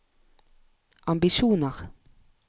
ambisjoner